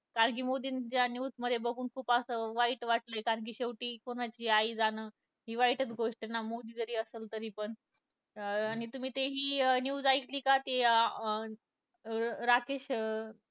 कारण की मोदींच्या न्युज मध्ये बघून खुप असं वाईट वाटलं कारण कि शेवटी कोणाची आई जाणं दिवाळीची च गोष्ट ना असेल तरी पण अं आणि तुम्ही ते हि news ऐकली का ते अं राकेश अं